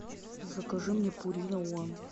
закажи мне пурина уан